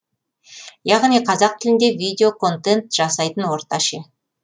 яғни қазақ тілінде видео контент жасайтын орта ше